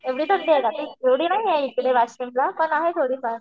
एवढी थंडी आहे का तिथे? एवढी नाहीये वाशीमला पण आहे थोडीफार.